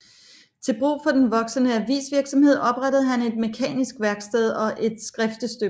Til brug for den voksende avisvirksomhed oprettede han et mekanisk værksted og et skriftestøberi